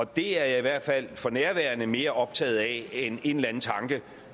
det er jeg i hvert fald for nærværende mere optaget af end en eller anden tanke